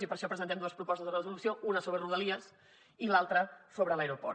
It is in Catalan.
i per això presentem dues propostes de resolució una sobre rodalies i l’altra sobre l’aeroport